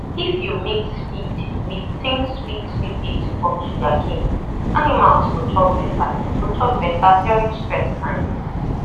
if you mix feed with think sweet liquid of sugar cane animals go chop better go chop better during stress time